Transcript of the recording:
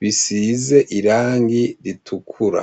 bisize irangi ritukura.